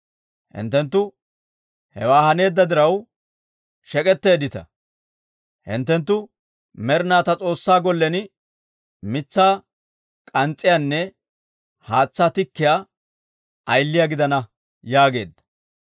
Hinttenttu hewaa haneedda diraw shek'etteeddita; hinttenttu med'inaw ta S'oossaa gollen mitsaa k'ans's'iyaanne haatsaa tikkiyaa ayiliyaa gidana» yaageedda.